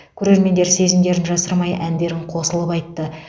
көрермендер сезімдерін жасырмай әндерін қосылып айтты